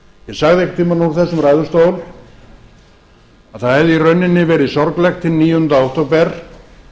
sagði einhverntímann úr þessum ræðustól að það hefði í rauninni verið sorglegt hinn níundi október